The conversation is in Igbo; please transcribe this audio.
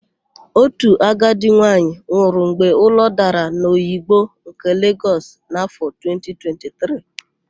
Otu agadi nwaanyị nwụrụ mgbe ụlọ dara n'Oyigbo nke Legọs n'áfọ̀ 2023.